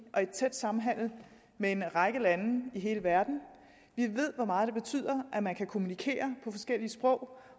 og en tæt samhandel med en række lande i hele verden vi ved hvor meget det betyder at man kan kommunikere på forskellige sprog